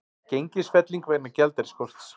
Gengisfelling vegna gjaldeyrisskorts